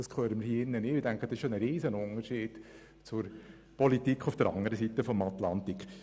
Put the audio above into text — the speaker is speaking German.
Das ist ein riesiger Unterschied zur Politik auf der anderen Seite des Atlantiks.